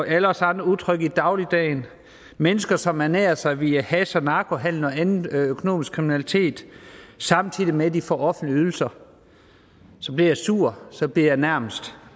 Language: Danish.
alle os andre utrygge i dagligdagen mennesker som ernærer sig via hash og narkohandel og anden økonomisk kriminalitet samtidig med at de får offentlige ydelser så bliver jeg sur så bliver jeg nærmest